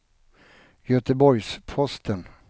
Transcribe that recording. Göteborgs-Posten